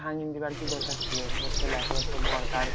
ভাঙিন দেওয়ার কি দরকার ছিল? এবার ছেলেটা তো বরকার